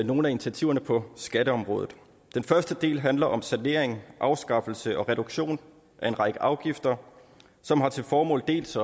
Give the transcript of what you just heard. nogle af initiativerne på skatteområdet den første del handler om sanering afskaffelse og reduktion af en række afgifter som har til formål dels